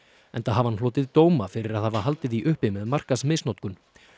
enda hafi hann hlotið dóma fyrir að hafa haldið því uppi með markaðsmisnotkun